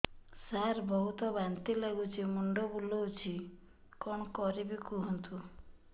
ସାର ବହୁତ ବାନ୍ତି ଲାଗୁଛି ମୁଣ୍ଡ ବୁଲୋଉଛି କଣ କରିବି କୁହନ୍ତୁ